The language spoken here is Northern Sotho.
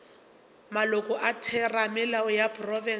maloko a theramelao ya profense